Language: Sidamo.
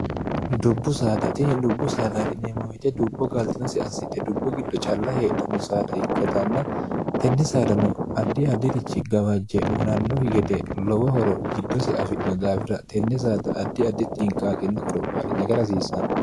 dubbu saadatii dubbu saadati neemomite dubbo gaaltinosi assite dubbu giddo calla heedhanno saada ikkatanna tenne saadano addi addirichi gawajje unannohi gede lowo horo giddosi afidno daafira tenne saada addi additxi inqaaqinna qorophaadhi nagarahsiissanno